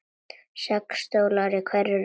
Sex stólar í hverri röð.